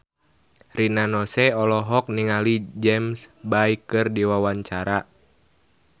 Rina Nose olohok ningali James Bay keur diwawancara